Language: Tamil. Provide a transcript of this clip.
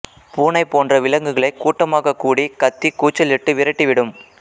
பூனை போன்ற விலங்குகளை கூட்டமாகக் கூடி கத்தி கூச்சலிட்டு விரட்டிவிடும்